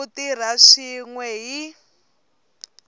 ku tirha swin we hi